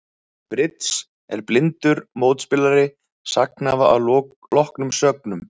Í bridds er blindur mótspilari sagnhafa að loknum sögnum.